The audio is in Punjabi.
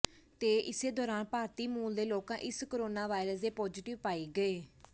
ਤੇ ਇਸੇ ਦੌਰਾਨ ਭਾਰਤੀ ਮੂਲ ਦੇ ਲੋਕਾਂ ਇਸ ਕੋਰੋਨਾ ਵਾਇਰਸ ਦੇ ਪਾਜ਼ੀਟਿਵ ਪਾਏ ਗਏ